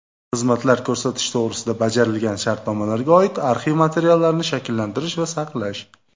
xizmatlar ko‘rsatish to‘g‘risida bajarilgan shartnomalarga oid arxiv materiallarini shakllantirish va saqlash;.